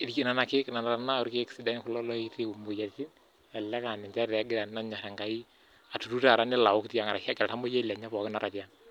lelo keek tenakata kulo loitibu moyiaritin, elelek aa ninchet taata egira aturuto nelo aok tiang ashu eeta oltamoyiai lenye tiang.